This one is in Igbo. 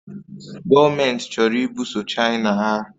Gọọmenti chọrọ ibuso China agha